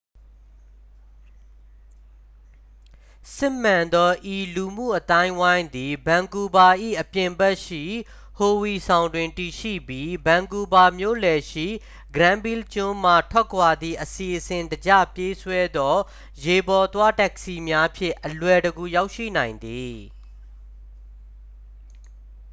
စစ်မှန်သော ဤလူမှုအသိုင်းအဝိုင်းသည် ဗန်ကူးဗား၏ အပြင်ဘက်ရှိ ဟိုဝီဆောင်းတွင် တည်ရှိပြီး ဗန်ကူးဗား မြို့လယ်ရှိ ဂရန်းဗီးလ်ကျွန်းမှ ထွက်ခွာသည့် အစီအစဉ်တကျပြေးဆွဲသော ရေပေါ်သွား တက္ကစီများဖြင့် အလွယ်တကူရောက်ရှိနိုင်သည်